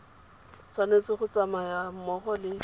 tshwanetse go tsamaya mmogo le